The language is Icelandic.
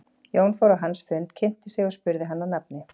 Jón fór á hans fund, kynnti sig og spurði hann að nafni.